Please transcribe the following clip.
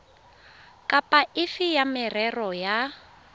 kapa efe ya merero ya